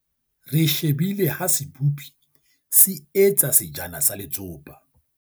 re shebile ha sebopi se etsa sejana sa letsopa